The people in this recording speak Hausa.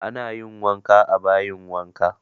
Ana yin wanka a bayin wanka